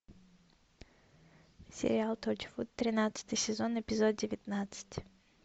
сериал торчвуд тринадцатый сезон эпизод девятнадцать